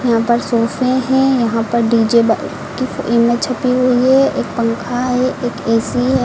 यहां पर सोफे हैं यहां पर डी_जे ब की इमेज छपी हुई है एक पंखा है एक ए_सी है।